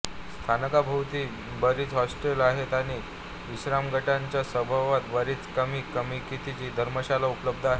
स्थानकाभोवती बरीच हॉटेल्स आहेत आणि विश्रामघाटाच्या सभोवताल बरीच कमी किमतीची धर्मशाळा उपलब्ध आहेत